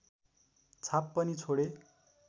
छाप पनि छोडे